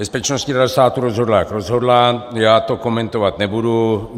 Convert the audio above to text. Bezpečnostní rada státu rozhodla, jak rozhodla, já to komentovat nebudu.